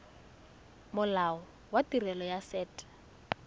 molao wa tirelo ya set